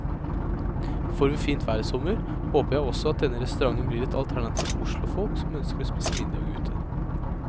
Får vi fint vær i sommer, håper jeg også at denne restauranten blir et alternativ for oslofolk som ønsker å spise middag ute.